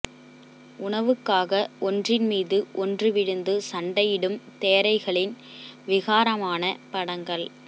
உணவுக்காக ஒன்றின் மீது ஒன்று விழுந்து சண்டையிடும் தேரைகளின் விகாரமான படங்கள்